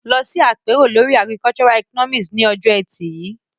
Lọ sí àpérò lórí Agricultural Economics ní ọjọ́ Ẹtì yìí.